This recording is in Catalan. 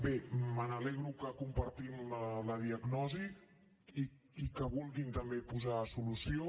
bé m’alegro que compartim la diagnosi i que vulguin posarhi també solució